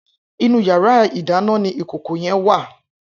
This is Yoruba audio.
Inú iyàrá idàná ni ikókó yèn wá